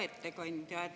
Hea ettekandja!